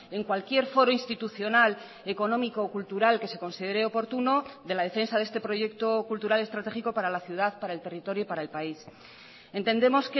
en cualquier foro institucional económico o cultural que se considere oportuno de la defensa de este proyecto cultural estratégico para la ciudad para el territorio para el país entendemos